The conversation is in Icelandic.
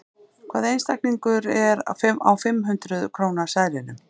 Hvaða einstaklingur er á fimm hundrað króna seðlinum?